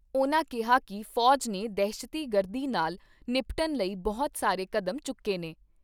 ਉਨ੍ਹਾਂ ਕਿਹਾ ਕਿ ਫੌਜ ਨੇ ਦਹਿਸ਼ਤੀ ਗਰਦੀ ਨਾਲ ਨਿਪਟਣ ਲਈ ਬਹੁਤ ਸਾਰੇ ਕਦਮ ਚੁੱਕੇ ਨੇ।